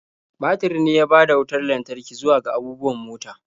Batir ne ya bada wutar lantarki zuwa ga abubuwan mota.